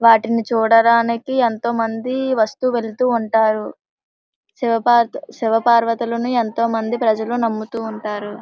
వాటిని చూడటానికి ఎంతో మంది వాస్తు వెళ్తూ ఉంటారు శివ పార్వతు శివ పార్వతులని ఎంతో మంది ప్రజలు నాముతు ఉంటారు .